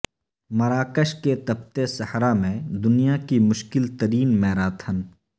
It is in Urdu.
مراکش کے تپتے صحرا میں دنیا کی مشکل ترین میراتھن